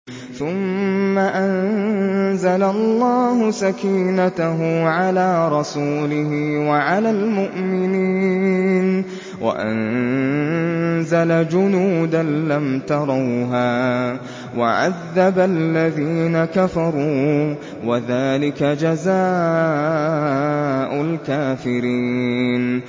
ثُمَّ أَنزَلَ اللَّهُ سَكِينَتَهُ عَلَىٰ رَسُولِهِ وَعَلَى الْمُؤْمِنِينَ وَأَنزَلَ جُنُودًا لَّمْ تَرَوْهَا وَعَذَّبَ الَّذِينَ كَفَرُوا ۚ وَذَٰلِكَ جَزَاءُ الْكَافِرِينَ